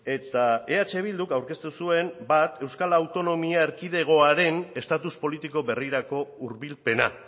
eta eh bilduk aurkeztu zuen bat euskal autonomia erkidegoaren estatus politiko berrirako hurbilpena